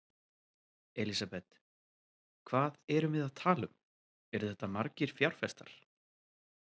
Elísabet: Hvað erum við að tala um, eru þetta margir fjárfestar?